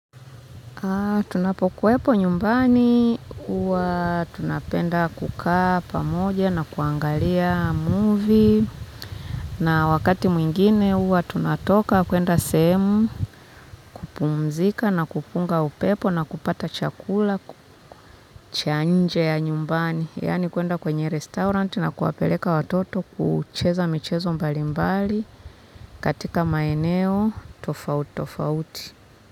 Tunapokuwepo nyumbani huwa tunapenda kukaa pamoja na kuangalia movie na wakati mwingine huwa tunatoka kwenda sehemu, kupumzika na kupunga upepo na kupata chakula cha nje ya nyumbani. Yaani kwenda kwenye restaurant na kuwapeleka watoto kucheza michezo mbalimbali katika maeneo tofauti tofauti.